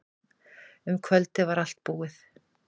Um kvöldið var allt tilbúið.